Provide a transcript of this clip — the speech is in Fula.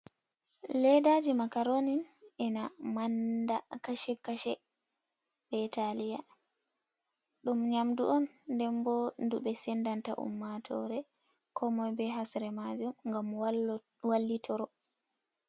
Ledaji makaronin ina manda kashe kashe be italiya, ɗum nyamdu denbo ndu ɓe sendanta ummatore ko moi be hasre majum ngam wallitoro.